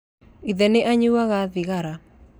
Ithe nĩ anyuaga thigara